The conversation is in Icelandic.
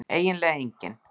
eiginlega enginn